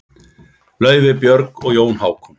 Laufey, Björg og Jón Hákon.